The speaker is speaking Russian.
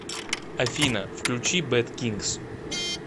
афина включи бэд кингс